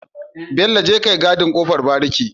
Bello jeka kayi gadin kofar bariki